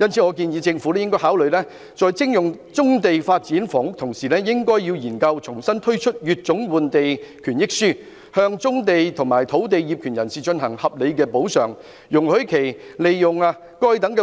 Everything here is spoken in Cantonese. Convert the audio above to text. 因此，我建議政府考慮在徵用棕地發展房屋之餘，研究重新推出乙種換地權益書，向棕地和土地業權人提供合理的補償，容許他們利用該等